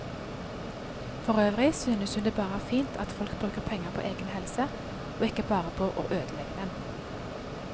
Forøvrig synes hun det bare er fint at folk bruker penger på egen helse, og ikke bare på å ødelegge den.